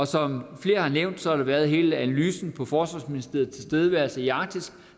som flere har nævnt har der været hele analysen af forsvarsministeriets tilstedeværelse i arktis